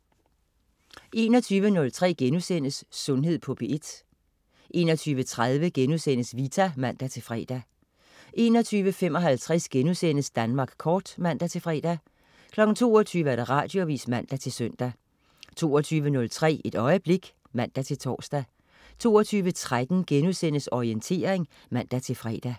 21.03 Sundhed på P1* 21.30 Vita* (man-fre) 21.55 Danmark kort* (man-fre) 22.00 Radioavis (man-søn) 22.03 Et øjeblik (man-tors) 22.13 Orientering* (man-fre)